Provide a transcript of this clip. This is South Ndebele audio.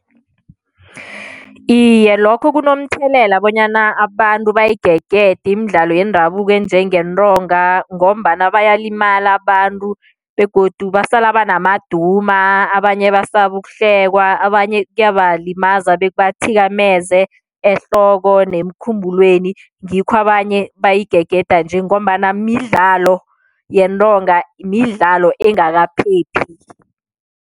Iye, lokho kunomthelela bonyana abantu bayigegede imidlalo yendabuko enjengentonga ngombana bayalimala abantu begodu basala banamaduma, abanye basaba ukuhlekwa, abanye kuyabalimaza bekubathikameza ehloko nemkhumbulweni ngikho abanye bayigegeda nje ngombana midlalo yentonga midlalo engakaphephi.